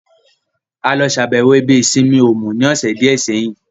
A lọ ṣàbẹ̀wọ̀ ibi ìsinmi Òmù ní ọ̀sẹ̀ díẹ̀ sẹ́yìn